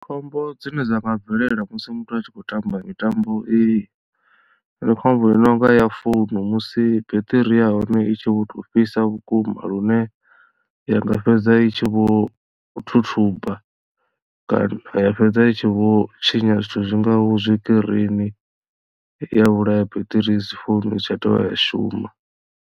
Khombo dzine dza nga bvelela musi muthu a tshi khou tamba mitambo iyi ndi khombo i nonga ya founu musi beṱiri ya hone i tshi vho tou fhisa vhukuma lune ya nga fhedza i tshi vho thuthuba kana ya fhedza i tshi vho tshinya zwithu zwingaho tshikirini ya vhulaya biṱiri ya founu i si tsha dovha ya shuma.